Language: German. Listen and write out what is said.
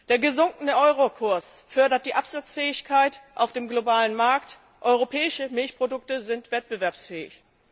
Der gesunkene Eurokurs fördert die Absatzfähigkeit auf dem globalen Markt, europäische Milchprodukte sind wettbewerbsfähig.